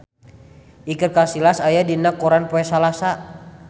Iker Casillas aya dina koran poe Salasa